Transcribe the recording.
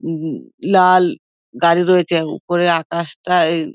উম উম লাল গাড়ি রয়েছে উপরে আকাশ টা--